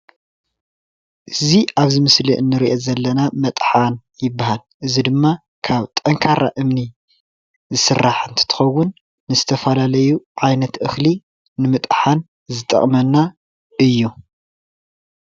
እዚ ኣብዚ ምስሊ እንሪኦ ዘለና መጥሓን ይበሃል፡፡ እዚ ድማ ካብ ጠንካራ እምኒ ዝስራሕ እንትትኸውን ንዝተፈላለዩ ዓይነት እኽሊ ንምጥሓን ዝጠቕመና እዩ፡፡